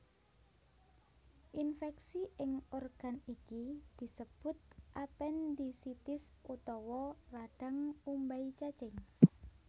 Infèksi ing organ iki disebut apendisitis utawa radhang umbai cacing